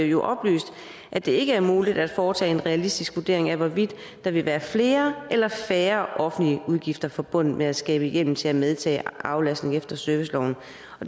jo oplyst at det ikke er muligt at foretage en realistisk vurdering af hvorvidt der vil være flere eller færre offentlige udgifter forbundet med at skabe hjemmel til at medtage aflastning efter serviceloven